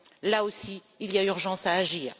Là aussi, il y a urgence à agir.